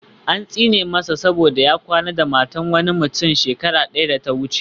An tsine masa saboda ya kwana da matar wani mutum shekara daya da ta wuce